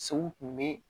Sogo kun bɛ